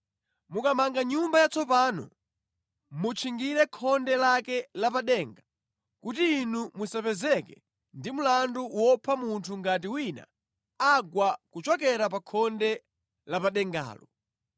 Mukamanga nyumba yatsopano, mutchingire khonde lake la pa denga kuti inu musapezeke ndi mlandu wopha munthu ngati wina agwa kuchokera pa khonde la pa dengalo.